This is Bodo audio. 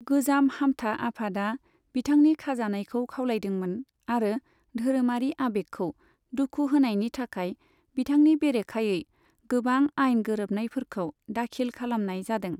गोजाम हामथा आफादा बिथांनि खाजानायखौ खावलायदोंमोन, आरो धोरोमारि आबेगखौ दुखु होनायनि थाखाय बिथांनि बेरेखायै गोबां आइन गोरोबनायफोरखौ दाखिल खालामनाय जादों।